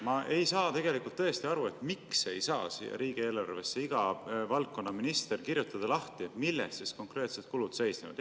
Ma tõesti ei saa aru, miks ei saa iga valdkonna minister riigieelarves lahti kirjutada, milles konkreetsed kulud seisnevad.